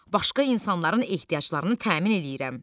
Başqa insanların ehtiyaclarını təmin eləyirəm.